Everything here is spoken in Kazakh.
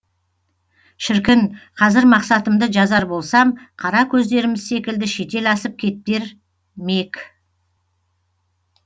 шіркін қазір мақсатымды жазар болсам қара көздеріміз секілді шетел асып кетер мек